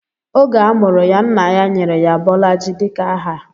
Oge a mụrụ ya, nna ya nyere ya Bolaji dika aha.